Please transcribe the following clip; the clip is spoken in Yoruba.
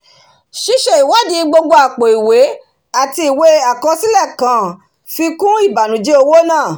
síse ìwádì gbogbo àpò ìwé àti ìwé àkọsílẹ̀ kàn fi kún ìbànújẹ owó náà